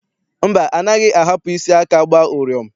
Mba, anaghị ahapụ isi aka agba ụrịọm.